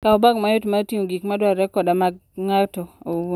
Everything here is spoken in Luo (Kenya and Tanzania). Kaw bag mayot mar ting'o gik madwarore koda mag ng'ato owuon.